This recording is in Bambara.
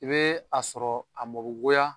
I bee a sɔrɔ a mɔ be goya